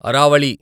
Aravalli